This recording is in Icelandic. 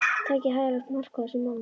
Takið hæfilegt mark á þessum manni.